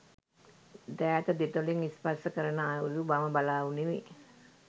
දෑත දෙතොලින් ස්පර්ශ කරනා අයුරු මම බලා උනිමි.